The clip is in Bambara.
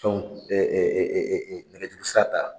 nɛgɛ juru sira ta